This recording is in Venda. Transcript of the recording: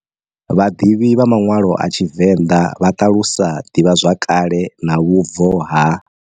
Vhadivhi vha manwalo a TshiVenda vha ṱalusa divhazwakale na vhubvo ha.